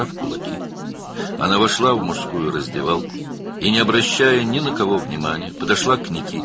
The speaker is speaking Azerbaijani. Yumruqlarını sıxaraq, o, kişi soyunma otağına girdi və heç kimə fikir vermədən Nikitaya yaxınlaşdı.